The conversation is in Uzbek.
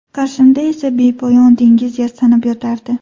Qarshimda esa bepoyon dengiz yastanib yotardi.